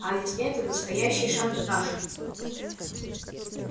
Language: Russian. а ведь это настоящий шантаж